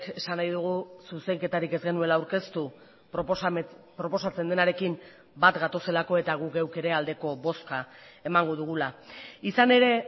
esan nahi dugu zuzenketarik ez genuela aurkeztu proposatzen denarekin bat gatozelako eta guk geuk ere aldeko bozka emango dugula izan ere